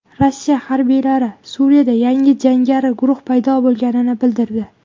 Rossiya harbiylari Suriyada yangi jangari guruh paydo bo‘lganini bildirdi.